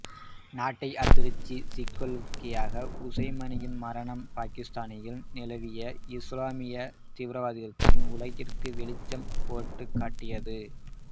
நாட்டை அதிர்ச்சிக்குள்ளாக்கிய உசுமானின் மரணம் பாக்கித்தானில் நிலவிய இசுலாமிய தீவிரவாதத்தை உலகிற்கு வெளிச்சம் போட்டுக் காட்டியது